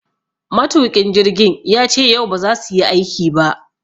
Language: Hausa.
Matuƙin jirgin yace yau ba za suyi aiki ba.